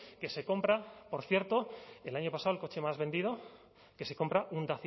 que se compra por cierto el año pasado el coche más vendido que se compra un